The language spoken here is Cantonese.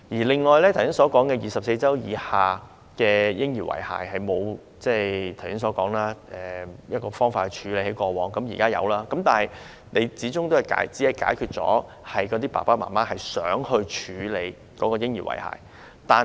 我剛才提到，過往受孕24周以下流產嬰兒的遺骸沒有方法妥善處理，現在終於有了，但始終只是幫助了想處理嬰兒遺骸的父母。